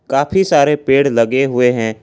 काफी सारे पेड़ लगे हुए हैं।